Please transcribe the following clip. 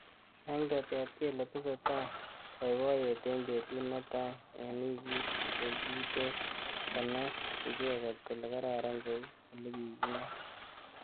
Eng tetet kele tesetai boiboyet eng betut netai eng wikit kokitet konai icheket kole kararan kou olekikingat